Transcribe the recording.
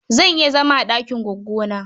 Zan iya zama a ɗakin goggona.